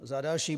Za další.